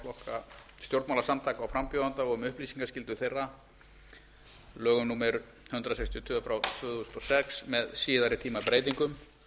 stjórnmálasamtaka og frambjóðenda og um upplýsingaskyldu þeirra lögum númer hundrað sextíu og tvö tvö þúsund og sex með síðari tíma breytingum